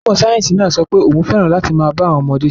Onímọ̀ sáyẹ́sì náà sọ pé òun fẹ́ràn láti máa bá àwọn ọmọdé ṣeré.